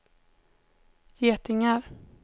getingar